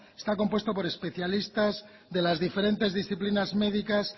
está compuesto por especialistas de las diferentes disciplinas médicas